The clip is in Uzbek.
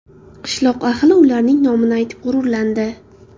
Qishloq ahli ularning nomini aytib g‘ururlandi.